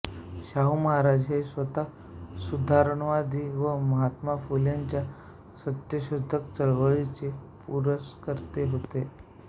शाहू महाराज हे स्वतः सुधारणावादी व महात्मा फुलेंच्या सत्यशोधक चळवळीचे पुरस्कर्ते होते